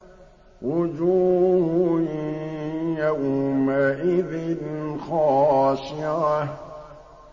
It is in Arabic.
وُجُوهٌ يَوْمَئِذٍ خَاشِعَةٌ